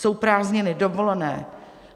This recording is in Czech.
Jsou prázdniny, dovolené.